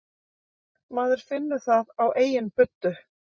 Maður finnur það á eigin buddu